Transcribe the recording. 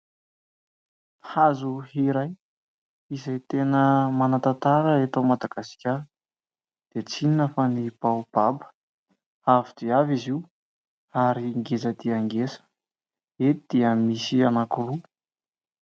Hazo iray izay tena manatantara eto Madagasikara dia tsy inona fa ny baobaba. Avo dia avo izy io ary ngeza dia ngeza eto dia misy anankiroa.